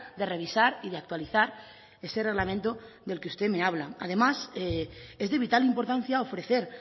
de revisar y de actualizar ese reglamento del que usted me habla además es de vital importancia ofrecer